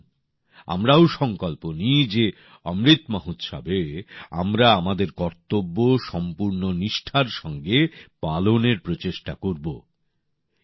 তাহলে আসুন আমরাও সংকল্প নিই যে অমৃত মহোৎসবে আমরা আমাদের কর্তব্য সম্পূর্ণ নিষ্ঠার সঙ্গে পালনের প্রচেষ্টা করবো